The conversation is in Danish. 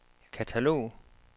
katalog